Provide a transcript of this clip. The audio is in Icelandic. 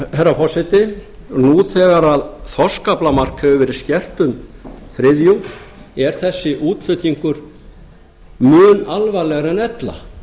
herra forseti nú þegar þorskaflamark hefur verið skert um þriðjung er þessi útflutningur mun alvarlegri en ella